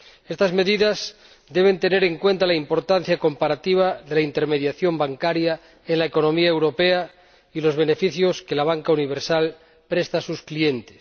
Estas medidas deben tener en cuenta la importancia comparativa de la intermediación bancaria en la economía europea y los beneficios que la banca universal presta a sus clientes.